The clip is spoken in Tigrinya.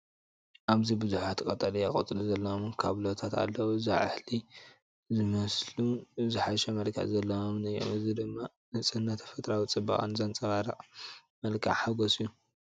ኣብዚ ብዙሓት ቀጠልያ ቆጽሊ ዘለዎም ካብሎታት ኣለዉ። ዛሕሊ ዝመልኡን ዝሓሸ መልክዕ ዘለዎምን እዮም። እዚ ድማ ንጽህናን ተፈጥሮኣዊ ጽባቐን ዘንጸባርቕ መልክዕ ሓጐስ እዩ።